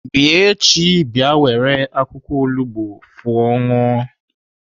Bịa echi bịa were akwụkwọ olugbo fụọ ṅụọ!